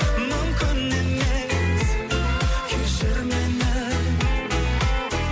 мүмкін емес кешір мені